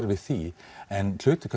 við því en hluti